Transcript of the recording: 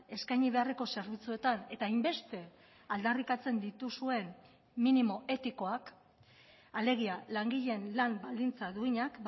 eskaini beharreko zerbitzuetan eta hainbeste aldarrikatzen dituzuen minimo etikoak alegia langileen lan baldintza duinak